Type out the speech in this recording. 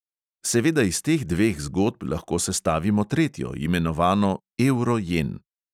Seveda iz teh dveh zgodb lahko sestavimo tretjo, imenovano evro-jen.